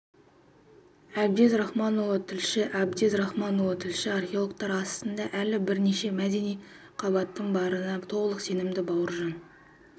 әбдез рахманұлы тілші әбдез рахманұлы тілші археологтар астында әлі бірнеше мәдени қабаттың барына толық сенімді бауыржан